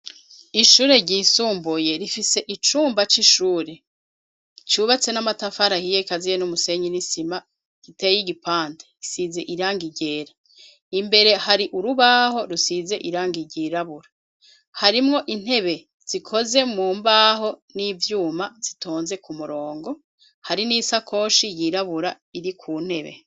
Ishure ryisumbuye rifise icumba c'ishure cubatse n'amatafari ahiye gikaziye n'umusenyi n'isima giteye igipande gisize irangi ryera. Imbere hari urubaho rusize irangi ryirabura harimwo intebe zikozwe mu mbaho n'ivyuma zitonze ku murongo, hari n'isakoshe yirabura iri ku ntebe.